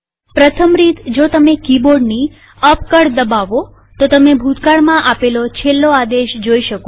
પ્રથમ રીતજો તમે કીબોર્ડની અપ કળ દબાવો તો તમે ભૂતકાળમાં આપેલો છેલ્લો આદેશ જોઈ શકો છો